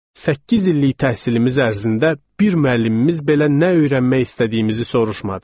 Səkkiz illik təhsilimiz ərzində bir müəllimimiz belə nə öyrənmək istədiyimizi soruşmadı.